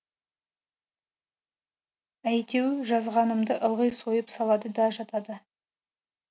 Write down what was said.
әйтеу жазғанымды ылғи сойып салады да жатады